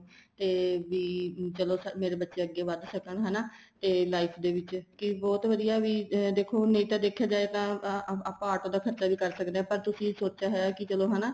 ਤੇ ਵੀ ਚਲੋ ਮੇਰੇ ਬੱਚੇ ਅੱਗੇ ਵੱਧ ਸਕਣ ਹਨਾ ਤੇ life ਦੇ ਵਿੱਚ ਕੀ ਬਹੁਤ ਵਧੀਆ ਵੀ ਦੇਖੋ ਨਹੀਂ ਤਾਂ ਦੇਖਿਆ ਜਾਏ ਤਾਂ ਆਪਾਂ auto ਦਾ ਖਰਚਾ ਵੀ ਕਰ ਸਕਦੇ ਹਾਂ ਪਰ ਤੁਸੀਂ ਸੋਚਿਆ ਹੋਇਆ ਕੀ ਚਲੋ ਹਨਾ